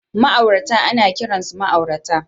Ma'aurata ana kiransu ma'aurata